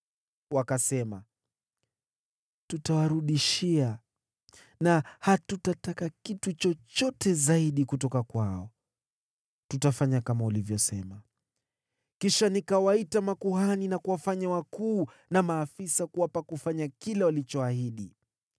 Wakasema, “Tutawarudishia na hatutataka kitu chochote zaidi kutoka kwao. Tutafanya kama ulivyosema.” Kisha nikawaita makuhani na kuwafanya wakuu na maafisa kuapa kufanya kile walichoahidi.